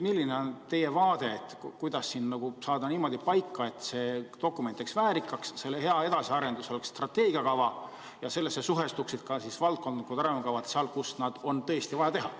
Milline on teie vaade, kuidas teha nii, et see dokument jääks väärikaks, et selle hea edasiarendus oleks strateegiakava ja sellega suhestuksid valdkondlikud arengukavad seal, kus seda on tõesti vaja?